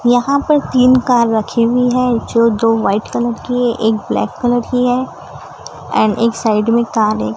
यहां पे तीन कार रखी हुई हैं जो दो वाइट कलर की है एक ब्लैक कलर की है एंड एक साइड में कार एक--